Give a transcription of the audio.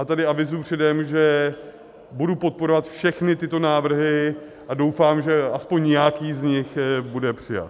A tady avizuji předem, že budu podporovat všechny tyto návrhy a doufám, že aspoň nějaký z nich bude přijat.